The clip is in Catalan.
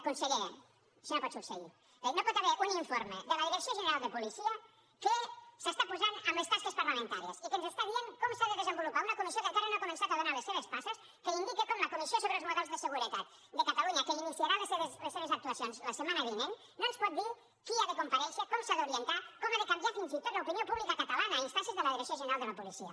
conseller això no pot succeir no hi pot haver un informe de la direcció general de policia que s’està posant en les tasques parlamentàries i que ens està dient com s’ha de desenvolupar una comissió que encara no ha començat a donar les seves passes que indica com la comissió sobre els models de seguretat de catalunya que iniciarà les seves actuacions la setmana vinent no ens pot dir qui ha de comparèixer com s’ha d’orientar com ha de canviar fins i tot l’opinió pública catalana a instàncies de la direcció general de la policia